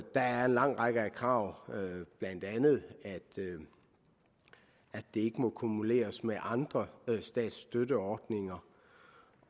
er en lang række krav blandt andet at det ikke må akkumuleres med andre statsstøtteordninger